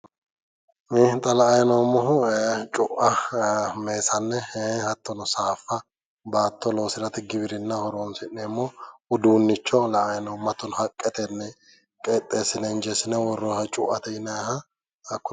Xa la"ayi noommohu cu'a, meesane hattono saaffa baatto loosirate giwirinnaho horoonsi'neemmo uduunnicho la"ayi noommo. Hattono haqqetenni qixxeessine injeessine worroonniha cu'ate yinayiha.